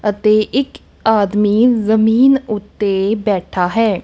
ਅਤੇ ਇੱਕ ਆਦਮੀ ਜਮੀਨ ਉੱਤੇ ਬੈਠਾ ਹੈ।